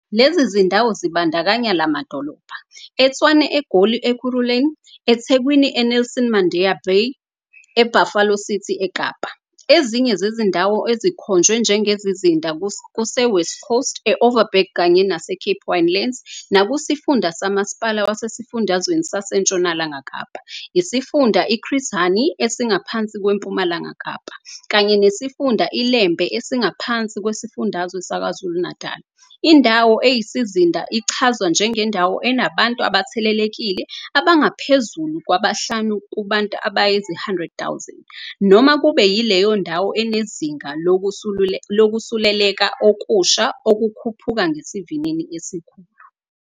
Lezi zindawo zibandakanya la madolobha- eTshwane eGoli Ekurhuleni eThekwini e-Nelson Mandela Bay e-Buffalo City eKapa. Ezinye zezindawo ezikhonjwe njengezizinda kuse-West Coast, e-Overberg kanye nase-Cape Winelands nekusifunda somasipala wasesifundazweni saseNtshonalanga Kapa, isifunda i-Chris Hani esingaphansi kweMpumalanga Kapa, kanye nesifunda iLembe esingaphansi kwesifundazwe saKwaZulu-Natali. Indawo eyisizinda ichazwa njengendawo enabantu abathelelekile abangaphezulu kwabahlanu kubantu abayizi-100 000 noma kube yileyo ndawo enezinga lokusuleleka okusha okukhuphuka ngesivinini esikhulu.